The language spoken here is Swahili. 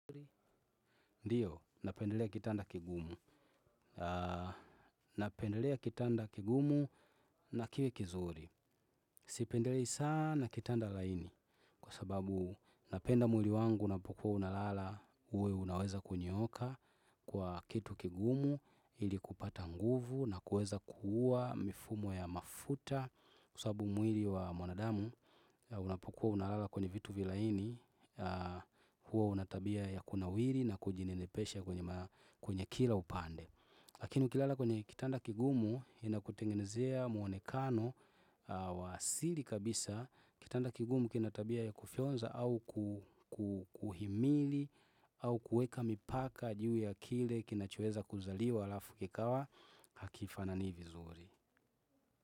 Ndiyo, napendelea kitanda kigumu. Napendelea kitanda kigumu na kile kizuri. Sipendelei sana kitanda laini. Kwa sababu napenda mwili wangu unapokuwa unalala uwe unaweza kunyooka kwa kitu kigumu ili kupata nguvu na kuweza kuua mifumo ya mafuta kwa sababu mwili wa mwanadamu unapokuwa unalala kwenye vitu vilaini huwa unatabia ya kunawiri na kujinenepesha kwenye kwenye kila upande lakini ukilala kwenye kitanda kigumu inakutengenezea muonekano wa asili kabisa kitanda kigumu kinatabia ya kufyonza au kuhimili au kuweka mipaka juu ya kile kinachoeza kuzaliwa alafu kikawa hakifanani vizuri.